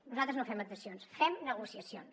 nosaltres no fem adhesions fem negociacions